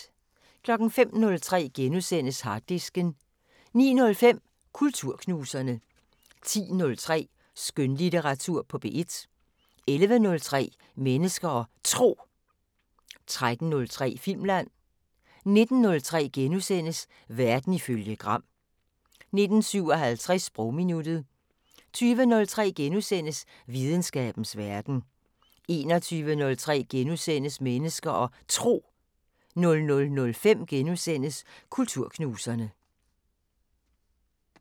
05:03: Harddisken * 09:05: Kulturknuserne 10:03: Skønlitteratur på P1 11:03: Mennesker og Tro 13:03: Filmland 19:03: Verden ifølge Gram * 19:57: Sprogminuttet 20:03: Videnskabens Verden * 21:03: Mennesker og Tro * 00:05: Kulturknuserne *